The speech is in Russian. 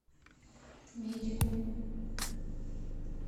медикум